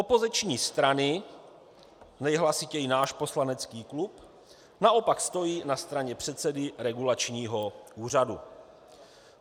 Opoziční strany - nejhlasitěji náš poslanecký klub - naopak stojí na straně předsedy regulačního úřadu.